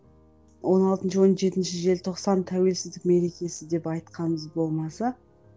он алтыншы он жетінші желтоқсан тәуелсіздік мерекесі деп айтқанымыз болмаса